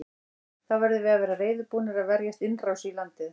Þá verðum við að vera reiðubúnir að verjast innrás í landið.